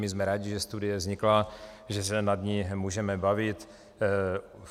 My jsme rádi, že studie vznikla, že se nad ní můžeme bavit.